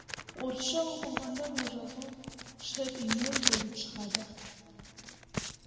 орысша оқылғанда бұл жазу шэт йел болып шығады